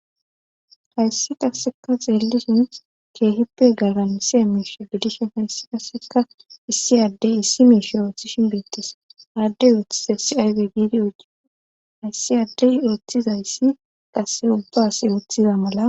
Hayssi qasseka xeellishin keehippe galan isie miishe gidishen hayssi kasseka issi addey issi miishe oothishin beettes aaddey oethizayssi aywe biidi ogi hayssi addey oethizayssi qase ubbaase wuthiza mala.